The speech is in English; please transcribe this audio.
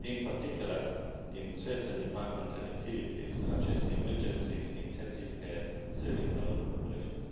in particular in certain departments and activities, such as emergencies, intensive care and surgical operations.